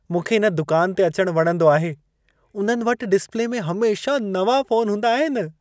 मूंखे इन दुकान ते अचणु वणंदो आहे। उन्हनि वटि डिस्प्ले में हमेशह नवां फोन हूंदा आहिनि।